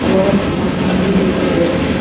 व मकान भी दिखाई दे रहे है।